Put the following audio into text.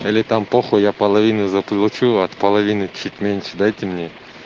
или там по хуй я половину заплачу от половины чуть меньше дайте мне